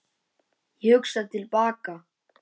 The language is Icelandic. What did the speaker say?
Ég hugsa til baka.